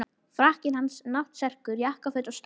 Frakkinn hans, náttserkur, jakkaföt og stráhattur.